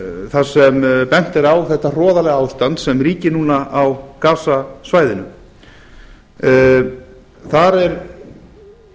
þar sem bent er á þetta hroðalega ástand sem ríkir núna á gasasvæðinu þar er